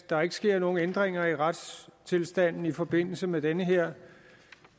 der ikke sker nogen ændringer i retstilstanden i forbindelse med den her